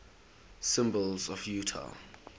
symbols of utah